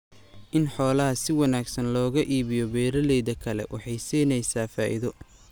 In xoolaha si wanaagsan looga iibiyo beeralayda kale waxay siinaysaa faa'iido.